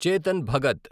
Chetan Bhagat